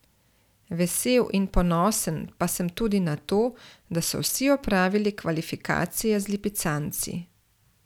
Vesel in ponosen pa sem tudi na to, da so vsi opravili kvalifikacije z lipicanci.